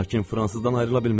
Lakin fransızdan ayrıla bilməz.